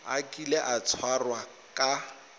a kile a tshwarwa ka